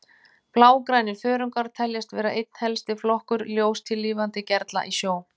Blágrænir þörungar teljast vera einn helsti flokkur ljóstillífandi gerla í sjó.